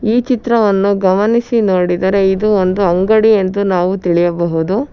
ಈ ಚಿತ್ರವನ್ನು ಗಮನಿಸಿ ನೋಡಿದರೆ ಇದು ಒಂದು ಅಂಗಡಿ ಎಂದು ನಾವು ತಿಳಿಯಬಹುದು.